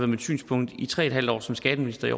mit synspunkt i tre en halv år som skatteminister i